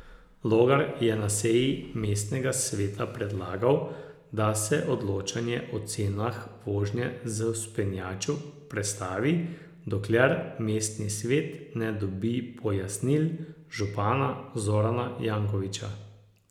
Logar je na seji mestnega sveta predlagal, da se odločanje o cenah vožnje z vzpenjačo prestavi, dokler mestni svet ne dobi pojasnil župana Zorana Jankovića.